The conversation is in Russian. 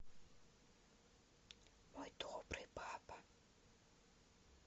мой добрый папа